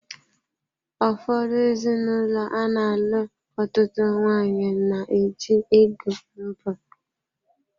Ụfọdụ ezinụlọ ana-alụ ọtụtụ nwanyị na-eji ego mbụ.